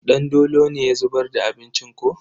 Dandolo ne ya zubar da abincin ko?